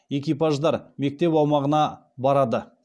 экипаждар мектеп аумағына барады